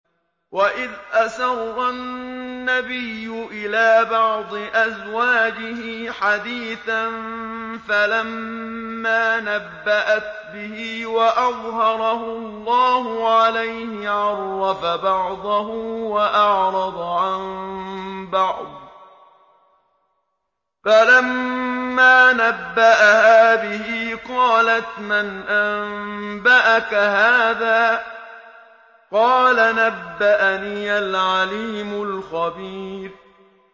وَإِذْ أَسَرَّ النَّبِيُّ إِلَىٰ بَعْضِ أَزْوَاجِهِ حَدِيثًا فَلَمَّا نَبَّأَتْ بِهِ وَأَظْهَرَهُ اللَّهُ عَلَيْهِ عَرَّفَ بَعْضَهُ وَأَعْرَضَ عَن بَعْضٍ ۖ فَلَمَّا نَبَّأَهَا بِهِ قَالَتْ مَنْ أَنبَأَكَ هَٰذَا ۖ قَالَ نَبَّأَنِيَ الْعَلِيمُ الْخَبِيرُ